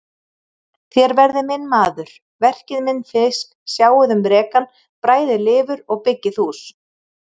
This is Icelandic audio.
Þér verðið minn maður, verkið minn fisk, sjáið um rekann, bræðið lifur og byggið hús.